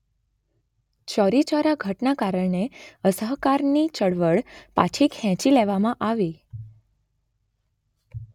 ચૌરીચોરા ઘટનાને કારણે અસહકારની ચળવળ પાછી ખેંચી લેવામાં આવી.